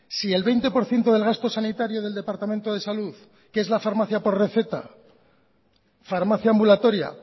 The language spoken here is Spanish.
si el veinte por ciento del gasto sanitario del departamento de salud que es la farmacia por receta farmacia ambulatoria